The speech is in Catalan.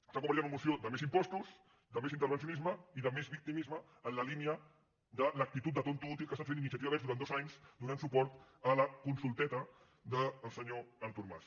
s’ha convertit en una moció de més impostos de més intervencionisme i de més victimisme en la línia de l’actitud de tonto l’últim que ha estat fent iniciativa verds durant dos anys do·nant suport a la consulteta del senyor artur mas